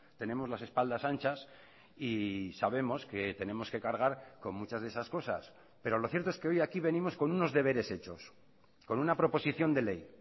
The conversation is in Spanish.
tenemos las espaldas anchas y sabemos que tenemos que cargar con muchas de esas cosas pero lo cierto es que hoy aquí venimos con unos deberes hechos con una proposición de ley